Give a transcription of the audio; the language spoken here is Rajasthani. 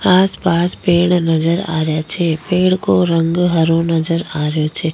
आस पास पेड़ नजर आ रहिया छे पेड़ को रंग हरो नजर आ रहे छे।